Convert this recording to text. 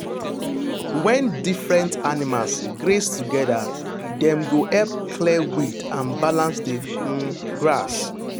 when different animals graze together dem go help clear weed and balance the um grass.